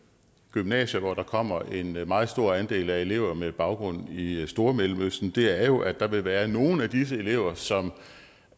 gymnasier hvor der kommer en meget stor andel af elever med baggrund i i stormellemøsten er jo at der vil være nogle af disse elever som